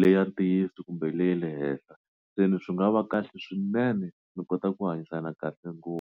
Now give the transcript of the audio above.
le ya ntiyiso kumbe le ya le henhla se ni swi nga va kahle swinene mi kota ku hanyisana kahle ngopfu.